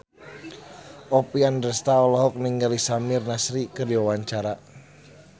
Oppie Andaresta olohok ningali Samir Nasri keur diwawancara